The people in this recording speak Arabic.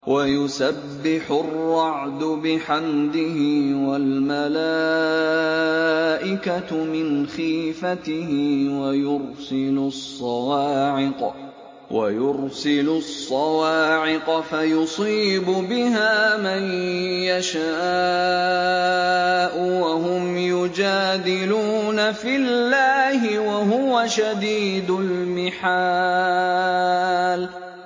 وَيُسَبِّحُ الرَّعْدُ بِحَمْدِهِ وَالْمَلَائِكَةُ مِنْ خِيفَتِهِ وَيُرْسِلُ الصَّوَاعِقَ فَيُصِيبُ بِهَا مَن يَشَاءُ وَهُمْ يُجَادِلُونَ فِي اللَّهِ وَهُوَ شَدِيدُ الْمِحَالِ